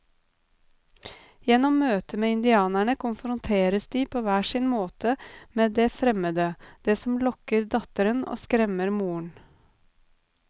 Gjennom møtet med indianerne konfronteres de på hver sin måte med det fremmede, det som lokker datteren og skremmer moren.